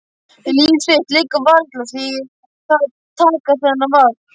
Líf þitt liggur varla við því að taka þennan vagn.